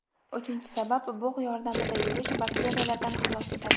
Uchinchi sabab: bug‘ yordamida yuvish Bakteriyalardan xalos etadi.